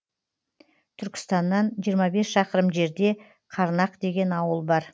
түркістаннан жиырма бес шақырым жерде қарнақ деген ауыл бар